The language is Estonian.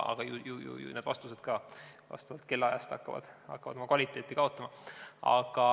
Ju need vastused hakkavad ka vastavalt kellaajale oma kvaliteeti kaotama.